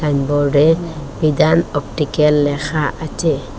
এক বোর্ডে বিধান অপটিকেল লেখা আছে।